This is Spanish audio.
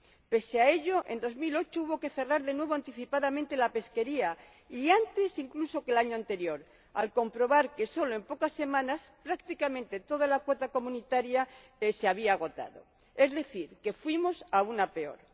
Pese a ello, en el año 2008 hubo que cerrar de nuevo anticipadamente la veda y antes, incluso, que el año anterior, al comprobar que sólo en pocas semanas prácticamente toda la cuota comunitaria se había agotado, es decir, que fuimos aún a peor.